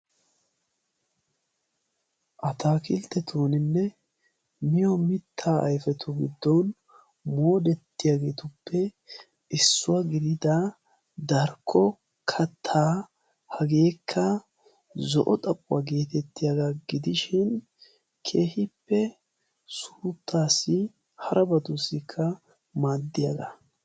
Ataakilttetuninne miyo mittaa ayfetu giddon moodettiyaageetuppe issuwaa gidida darkko kataa hageekka zo'o xaphuwaa geetettiyaagaa gidishin kehippe suuttaassi hara batuussikka maaddiyaagaa.